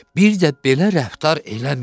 Bir də belə rəftar eləməyin.